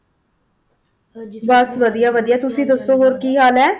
ਬਸ ਵਧੀਆ ਵਧੀਆ ਤੁਸੀ ਦੱਸੋ ਹੋਰ ਕੀ ਹਾਲ ਹੈ?